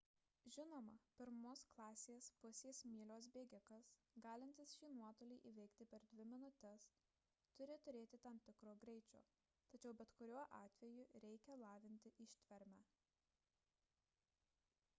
žinoma pirmos klasės pusės mylios bėgikas galintis šį nuotolį įveiktį per dvi minutes turi turėti tam tikro greičio tačiau bet kuriuo atveju reikia lavinti ištvermę